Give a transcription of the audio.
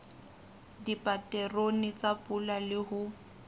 dipaterone tsa pula le ho